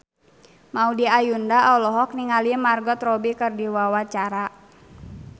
Maudy Ayunda olohok ningali Margot Robbie keur diwawancara